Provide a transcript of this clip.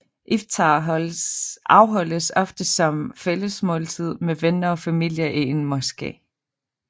Iftar afholdes ofte som fællesmåltid med venner og familie i en moské